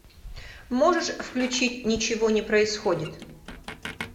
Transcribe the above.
можешь включить ничего не происходит